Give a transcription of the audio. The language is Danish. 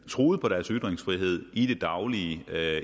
truet på deres ytringsfrihed i det daglige